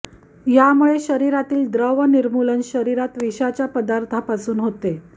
यामुळे शरीरातील द्रव निर्मूलन शरीरात विषाच्या पदार्थापासून होते